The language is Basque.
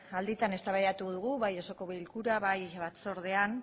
alditan eztabaidatu dugu bai osoko bilkura bai batzordean